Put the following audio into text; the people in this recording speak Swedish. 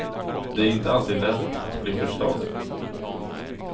Det är inte alltid lätt att bli förstådd.